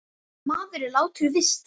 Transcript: Maður, sem er latur víst.